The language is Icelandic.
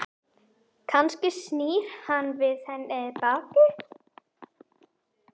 Kannski snýr hann við henni baki?